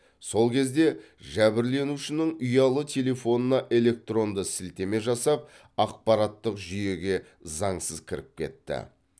сол кезде жәбірленушінің ұялы телефонына электронды сілтеме жасап ақпараттық жүйеге заңсыз кіріп кетті